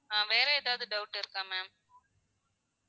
ஆஹ் வேற எதாவது doubt இருக்கா ma'am